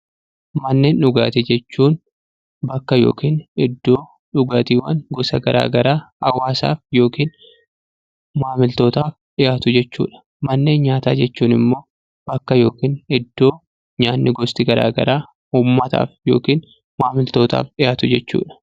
Manneen dhugaatii jechuun bakka yookiin iddoo dhugaatiiwwan gosa garaa garaa hawwaasaaf yookiin maamiltootaaf dhiyaatuu dha. Manneen nyaataa jechuun immoo bakka yookiin iddoo nyaanni gosti garaa garaa ummataaf yookiin maamiltootaaf dhiyaatu jechuu dha.